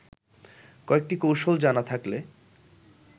কয়েকটি কৌশল জানা থাকলে